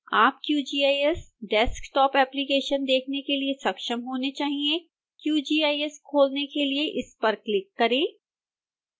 आप qgis desktop application देखने के लिए सक्षम होने चाहिए qgis खोलने के लिए इस पर क्लिक करें